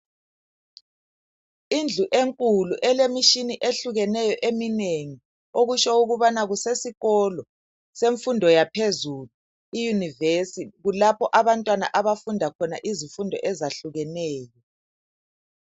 Indlu enkulu elemitshina ehlukeneyo eminengi okutsho ukubana kusesikolo semfundo yaphezulu, i University, kulapho abantwana abafunda khona izifundo ezahlukeneyo.